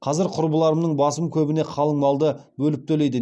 қазір құрбыларымының басым көбіне қалың малды бөліп төлейді